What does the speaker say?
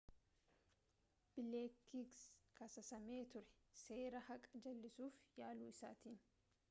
bileekis kasaasame ture seera haqaa jal'isuuf yaalu isaatiin